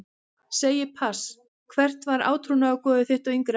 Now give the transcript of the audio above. Segi pass Hvert var átrúnaðargoð þitt á yngri árum?